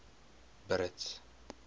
brits